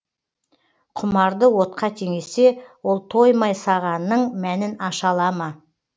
құмарды отқа теңесе ол тоймай сағанның мәнін аша ала ма